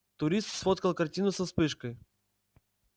турист сфоткал картину со вспышкой